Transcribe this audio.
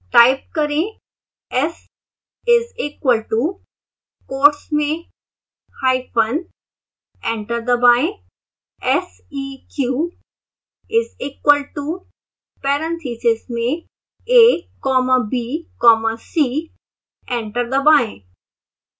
type करें s is equal to quotes मेंhyphen enter दबाएं seq is equal to parentheses में a comma b comma c enter दबाएं